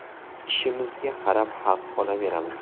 Ishimizga qarab haq olaveramiz.